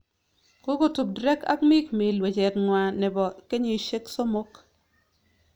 Kokotup Drake ak mikmill wechet nywaa nebo kenyisyek somok